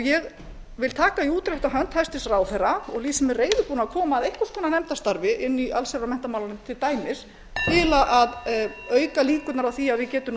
ég vil taka í útrétta hönd hæstvirtur ráðherra og lýsi mig reiðubúna að koma að einhvers konar nefndastarfi inni í allsherjar og menntamálanefnd til dæmis til að auka líkurnar á að við getum